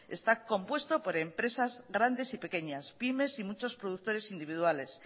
está compuesto por empresas grandes y pequeñas pymes y muchos productores individuales